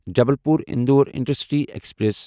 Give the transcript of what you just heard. Jabalpur Indore intercity express